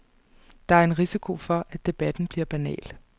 Der er en risiko for, at debatten bliver banal.